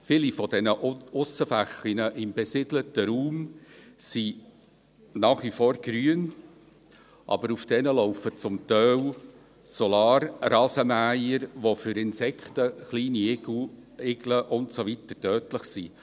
Viele dieser Aussenflächen im besiedelten Raum sind nach wie vor grün, aber auf diesen laufen zum Teil Solarrasenmäher, welche für Insekten, kleine Igel und so weiter tödlich sind.